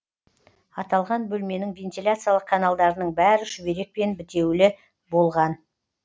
аталған бөлменің вентиляциялық каналдарының бәрі шүберекпен бітеулі болған